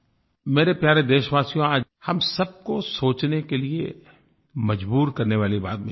मेरे प्यारे देशवासियो आज हम सब को सोचने के लिए मज़बूर करने वाली बात मुझे करनी है